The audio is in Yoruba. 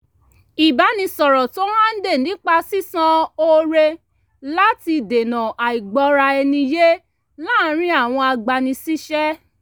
ìbánisọ̀rọ̀ tó hànde nípa sisan oore láti dènà àìgbọ́ra ẹni yé láàrin àwọn agbani síṣẹ́